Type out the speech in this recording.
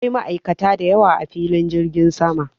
Akwai ma'aikata da yawa a filin jirgin sama.